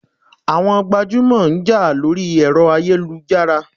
Àwọn gbajúmọ̀ ń jà lórí ẹ̀rọ ayélujára.